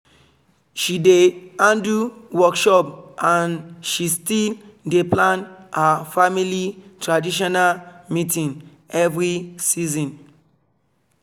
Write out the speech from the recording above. she dey handle workshop and she still dey plan her family traditional meeting every season